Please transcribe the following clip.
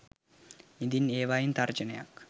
ඉඳින් ඒවායින් තර්ජනයක්